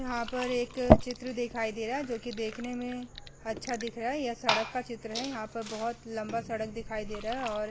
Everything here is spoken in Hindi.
यहाँ पर एक चित्र दिखाई दे रहा है जोकि देखने में अच्छा दिख रहा है। यह सड़क का चित्र है यहाँ पर बहोत लम्बा सड़क दिख रहा है और --